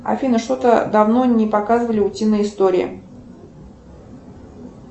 афина что то давно не показывали утиные истории